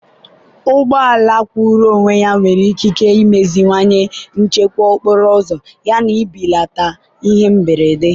ụgbọ ala kwụụrụ onwe ya nwere ikike imeziwanye nchekwa okporo ụzọ yana ibelata ihe mberede.